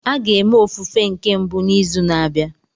A ga-eme ofufe nke mbụ n'izu na-abịa